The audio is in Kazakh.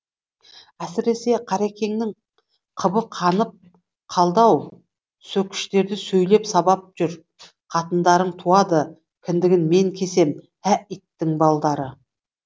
әсіресе қарекеңнің қыбы қанып қалды ау сөкіштерді сөйлеп сабап жүр қатындарың туады кіндігін мен кесем ә иттің балдары